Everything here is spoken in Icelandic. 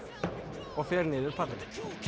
og fer niður pallinn